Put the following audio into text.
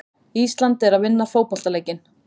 Ísland er að vinna fótboltaleikinn.